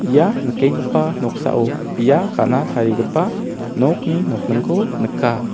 ia nikenggipa noksao bia ka·na tarigipa nokni nokningko nika.